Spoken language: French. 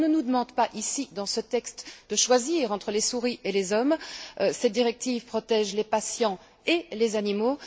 On ne nous demande pas ici, dans ce texte, de choisir entre les souris et les hommes cette directive protège les patients et les animaux.